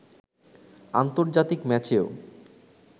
আন্তর্জাতিক ম্যাচেও